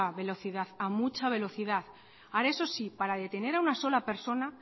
velocidad a mucha velocidad ahora eso sí para detener a una sola persona